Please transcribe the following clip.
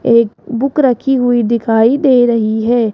एक बुक रखी हुई दिखाई दे रही है।